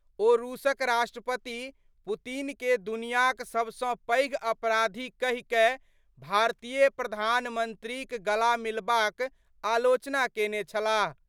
ओ रूसक राष्ट्रपति पुतिन के दुनियांक सब सं पैघ अपराधी कहि कए भारतीय प्रधानमंत्रीक गला मिलबाक आलोचना केने छलाह।